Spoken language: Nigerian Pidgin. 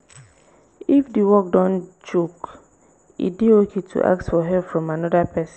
if di work don choke e dey okay to ask for help from anoda person